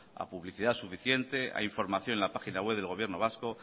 a publicidad suficiente a información en la página web del gobierno vasco